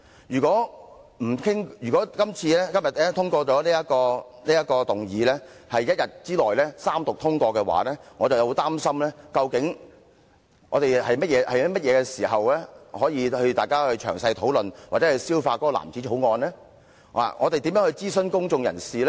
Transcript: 如果議案獲得通過，在今天一天之內三讀通過這項《條例草案》，我會很擔心，究竟我們何時可以詳細討論或消化這藍紙條例草案？我們如何諮詢公眾人士？